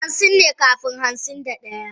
Hansin ne kafin hansin da daya.